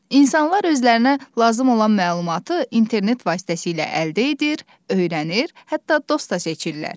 İnsanlar özlərinə lazım olan məlumatı internet vasitəsilə əldə edir, öyrənir, hətta dost da seçirlər.